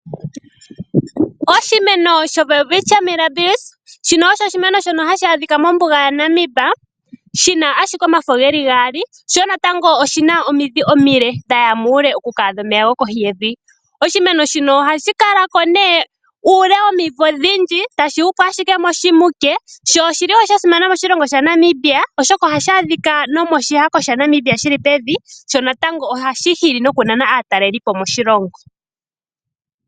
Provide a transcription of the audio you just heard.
Oshimeno showelwitchia mirabilis osho oshimeno shono hashi adhika mombuga yaNamib shi na ashike omafo ge li gaali, sho oshi na omidhi omile dha ya muule oku ka adha omeya gokohi yevi. Oshimeno shika ohashi kala ko uule womivo odhindji tashi hupu ashike moshimuke sho osha simana moshilongo shaNamibia, oshoka ohashi ashika pevi lyoshihako shaNamibia. Ohashi hili wo nokunana aatalelipo moshilongo.